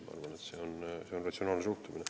Ma arvan, et see on ratsionaalne suhtumine.